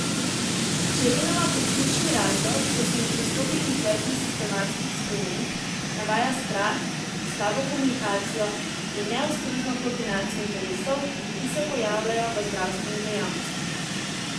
Čerinova kot ključni razlog, da se ne pristopi k izvedbi sistemskih sprememb, navaja strah, slabo komunikacijo in neustrezno koordinacijo interesov, ki se pojavljajo v zdravstveni dejavnosti.